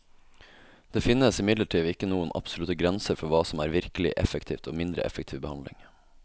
Det finnes imidlertid ikke noen absolutte grenser for hva som er virkelig effektiv og mindre effektiv behandling.